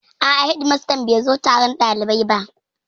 A'a, hedimastan bai zo taron ɗalibai ba